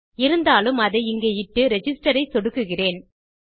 இருந்தாலும் அதை இங்கே இட்டு ரிஜிஸ்டர் ஐ சொடுக்குகிறேன்